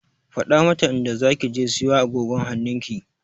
Faɗa mata inda zaki je siyo agogon hannunki!